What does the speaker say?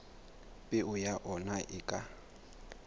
peo ya ona e ka